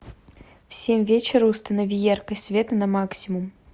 в семь вечера установи яркость света на максимум